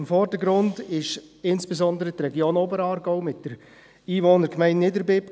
Im Vordergrund stand insbesondere die Region Oberaargau mit der Einwohnergemeinde Niederbipp.